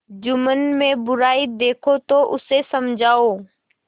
जुम्मन में बुराई देखो तो उसे समझाओ